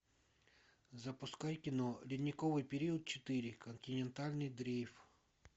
запускай кино ледниковый период четыре континентальный дрейф